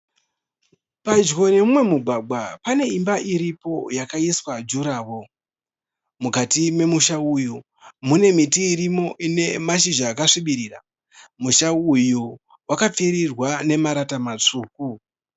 Padyo neumwe mugwagwa pane imba iripo yakakaiswa juraworo. Mukati memusha uyu mune miti irimo ine mashizha akasvibirira. Musha uyu wakapfirirwa nemarata matsvuku.